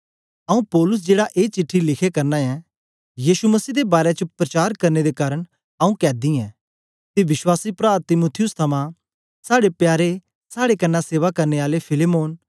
आऊँ पौलुस जेड़ा ए चिट्ठी लिखे करना ऐं यीशु मसीह दे बारै च प्रचार करने दे कारन आऊँ कैदी ऐं ते विश्वासी प्रा तीमुथियुस थमां साड़े प्यारे साड़े कन्ने सेवा करने आले फिलेमोन